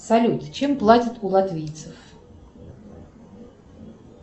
салют чем платят у латвийцев